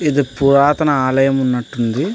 ఇది పురాతన ఆలయం ఉన్నట్టు ఉంది.